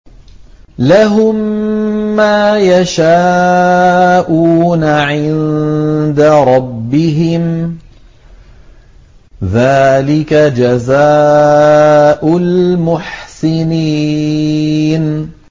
لَهُم مَّا يَشَاءُونَ عِندَ رَبِّهِمْ ۚ ذَٰلِكَ جَزَاءُ الْمُحْسِنِينَ